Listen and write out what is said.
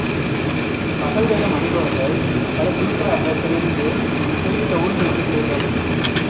பகல் வேடம் அணிபவர்கள் பல குழுக்களாகப் பிரிந்து குறிப்பிட்ட ஊர்களுக்குச் செல்வர்